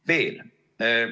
Veel.